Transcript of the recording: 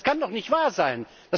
Das kann doch nicht wahr sein!